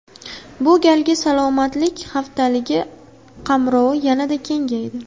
Bu galgi Salomatlik haftaligi qamrovi yanada kengaydi.